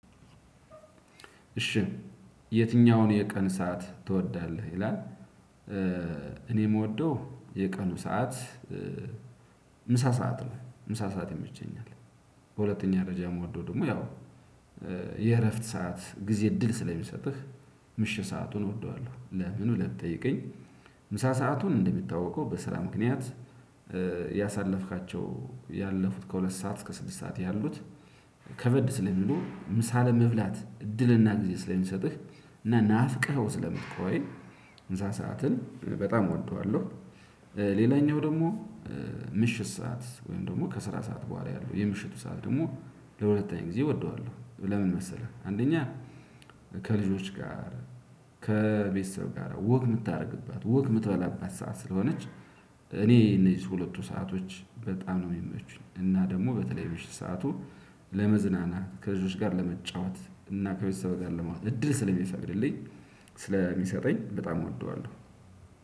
እሺ የትኛውን የቀን ሰዓት ትወዳለህ ይላል? እኔ የምወደው የቀኑ ሰዓት ምሳ ሰዓት ነው ምሳ ሰዓት ይመቸኛል። በሁለተኛ ደረጃ የምወደው ደግሞ ያው የእረፍት ሰዓት ጊዜ እድል ስለሚሰጥህ ምሽህ ሰአቱን እወደዋለሁ። ለምን ብለህ ብጠየቀኝ ምሳ ሰአቱን እንደሚታወቀው በስራ ምክንያት ያሳለፍካቸው ያለፉት ከሁለት ሰዓት እስከ ስድስት ሰዓት ያሉት ከበድ ስለሚሉ ምሳ ለመብላት እድልና ጊዜ ስለሚሰጥህ ናፍቅኸው ስለምትቆይ ምሳ ሰዓትን በጣም እወደዋለሁ። ሌላኛው ደግሞ ምሽት ሰዓት ወይም ደግሞ ከስራ ሰዓት በኋላ ያለው የምሽቱ ሰዓት ደግሞ ለሁለተኛ ጊዜ እወደዋለሁ። ለምን መሰለህ? አንደኛ ከልጆች ጋር ከቤተሰብ ጋር ወግ የምታደርግባት ወግ የምትበላባት ሰዓት ስለሆነች። እኔ እነዚህ ሁለቱ ሰአቶች በጣም ነው የሚመቹኝ እና ደግሞ በተለይ ምሽት ሰዓቱ። ለመዝናናት ከልጆች ጋር ለመጫወት እና ከቤተሰብ ጋር ለማለት ነው እድል ስለሚፈቅድልኝ ስለሚሰጠኝ በጣም እወደዋለሁ።